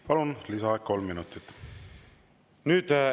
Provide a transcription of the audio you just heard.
Palun, lisaaeg kolm minutit!